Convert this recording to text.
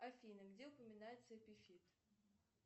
афина где упоминается эпифит